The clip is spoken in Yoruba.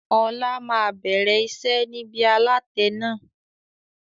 Ọlá máa bẹ̀rẹ̀ iṣẹ́ nibi alatẹ náà.